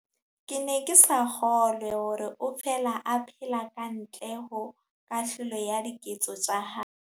Ke ne ke sa kgolwe hore o fela a phela ka ntle ho kahlolo ya diketso tsa hae.